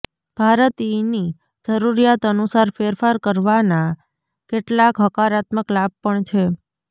ભારતીયની જરૂરિયાત અનુસાર ફેરફાર કરવાના કેટલાક હકારાત્મક લાભ પણ છે